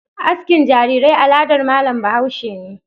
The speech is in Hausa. Askin jarirai aladar malam bahaushe ne.